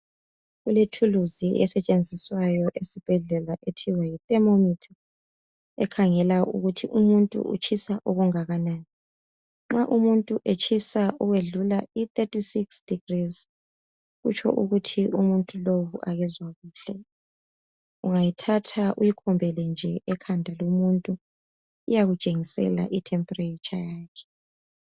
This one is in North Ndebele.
Kulethuluzi esetshenziswa esibhedlela okuthiwa yi thermometer ekhangela ukuthi umuntu utshisa okungakanani nxa umuntu etshisa okudlula i36 degrees kutsho ukuthi umuntu lowu akezwa kuhle ungayithatha uyikhombele nje ekhanda lomuntu iyakutshengisela i"temperature yakhe.